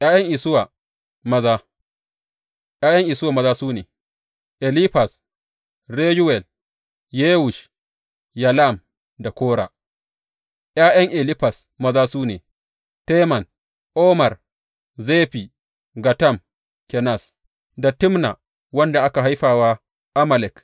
’Ya’yan Isuwa maza ’Ya’yan Isuwa maza, su ne, Elifaz, Reyuwel, Yewush, Yalam da Kora ’Ya’yan Elifaz maza su ne, Teman, Omar, Zefi, Gatam, Kenaz, da Timna wanda aka haifa wa Amalek.